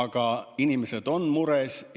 Aga inimesed on mures.